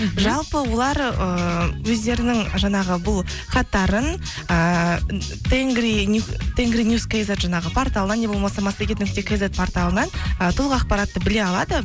жалпы олар ыыы өздерінің жаңағы бұл хаттарын ыыы тенгринюс кизет жаңағы порталынан не болмаса массагет нүкте кизет порталынан ы толық ақпаратты біле алады